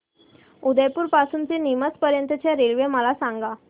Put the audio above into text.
उदयपुर पासून ते नीमच पर्यंत च्या रेल्वे मला सांगा